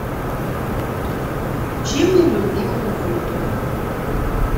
включи мне любимую культуру